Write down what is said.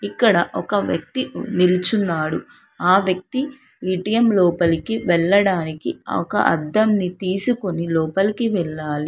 ఇక్కడ ఒక వ్యక్తి ఉమ్ నిల్చున్నాడు. ఆ వ్యక్తి ఏ_టీ_ఎం లోపలికి వెళ్ళడానికి ఒక అద్దంని తీసుకొని లోపలికి వెళ్ళాలి.